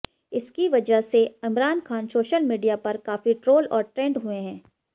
इसकी वजह से इमरान खान सोशल मीडिया पर काफी ट्रोल और ट्रेंड हुए हैं